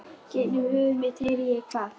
Gegnum höfuð mitt heyri ég hvað